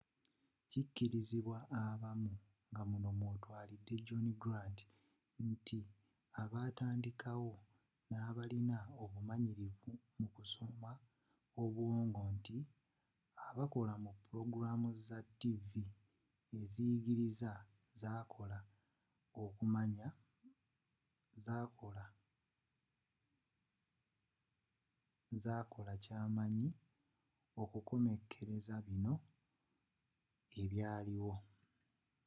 kikirizibwa abamu ngamuno mwotwalide john grant nti abakitandikawo nabalina obumanyiririvu mu kusoma obwongo nti abakola mu pulogulaamu za ttiivi eziyigiriza zakola kyamanyi okukomekereza bino ebyaliwo